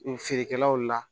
Feerekɛlaw la